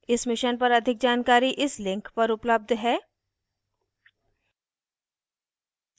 इस mission पर अधिक जानकारी इस link पर उपलब्ध है